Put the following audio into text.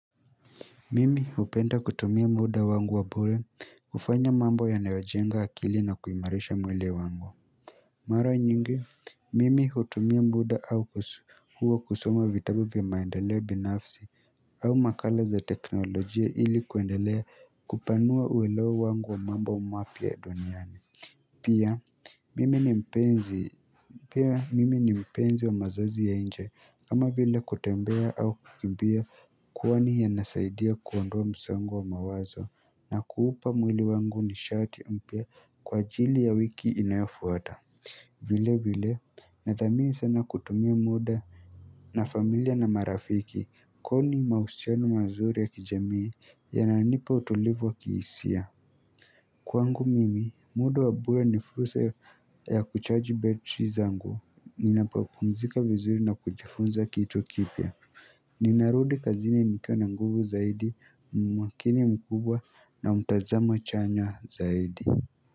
Mimi hupenda kutumia muda wangu wa bure kufanya mambo yanayo jenga akili na kuimarisha mwili wangu Mara nyingi, Mimi hutumia muda au kuso huwa kusoma vitabu vya maendeleo binafsi au makala za teknolojia ili kuendelea kupanua uwelewo wangu wa mambo mapya ya duniani pia mimi ni mpenzi, pia mimi ni mpenzi wa mazoezi ya nje kama vile kutembea au kukimbia kwani inasaidia kuondoa msongo wa mawazo na kuupa mwili wangu nishati mpya kwa ajili ya wiki inayofuata vile vile na thamini sana kutumia muda na familia na marafiki kwani mahusiano mazuri ya kijamii yananipa utulivu wa kiihisia. Kwangu mimi, muda wa bure ni fursa ya kuchaji betri zangu. Ninapopumzika vizuri na kujifunza kitu kipya. Ninarudi kazini nikiwa na nguvu zaidi, mwakini mkubwa na mtazamo chanya zaidi.